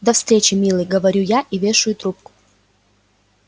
до встречи милый говорю я и вешаю трубку